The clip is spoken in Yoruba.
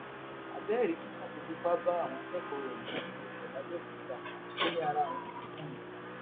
abẹẹ rí tíṣà tó fipá bá àwọn akẹkọọ rẹ méjì lò pọ làbẹòkúta ó ní ara òun ti kùn ni